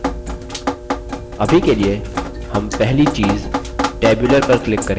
अभी के लिए हम पहली चीज़ tabular पर click करेंगे